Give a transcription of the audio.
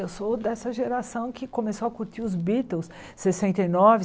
Eu sou dessa geração que começou a curtir os Beatles. Sessenta e nove